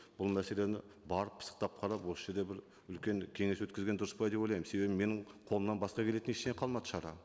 бұл мәселені барып пысықтап қарап осы жерде бір үлкен кеңес өткізген дұрыс па деп ойлаймын себебі менің қолымнан басқа келетін ештеңе қалмады шара